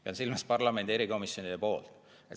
Pean silmas parlamendi erikomisjonide kontrolli.